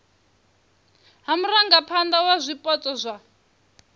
ha murangaphana wa zwipotso zwa